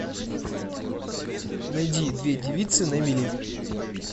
найди две девицы на мели